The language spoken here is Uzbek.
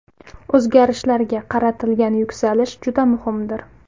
O‘zgarishlarga qaratilgan yuksalish juda muhimdir.